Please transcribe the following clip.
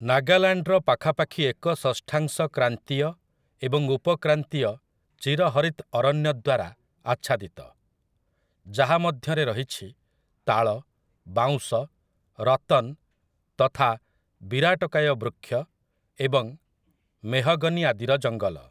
ନାଗାଲାଣ୍ଡର ପାଖାପାଖି ଏକ ଷଷ୍ଠାଂଶ କ୍ରାନ୍ତୀୟ ଏବଂ ଉପକ୍ରାନ୍ତୀୟ ଚିରହରିତ୍‌ ଅରଣ୍ୟ ଦ୍ୱାରା ଆଚ୍ଛାଦିତ, ଯାହା ମଧ୍ୟରେ ରହିଛି ତାଳ, ବାଉଁଶ, ରତନ୍ ତଥା ବିରାଟକାୟ ବୃକ୍ଷ ଏବଂ ମେହଗନୀ ଆଦିର ଜଙ୍ଗଲ ।